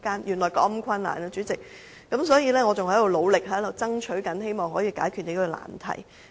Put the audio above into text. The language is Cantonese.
代理主席，原來事情是如此困難，我仍在努力爭取，希望可以解決這個難題。